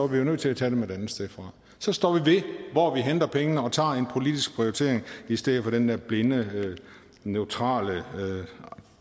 vi jo nødt til at tage dem et andet sted fra så står vi ved hvor vi henter pengene og tager en politisk prioritering i stedet for den der blinde neutrale